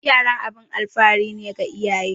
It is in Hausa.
Yara abun alfahari ne ga iyaye